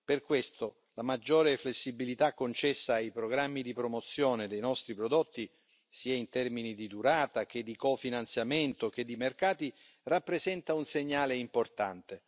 Per questo, la maggiore flessibilità concessa ai programmi di promozione dei nostri prodotti, sia in termini di durata che di cofinanziamento che di mercati, rappresenta un segnale importante.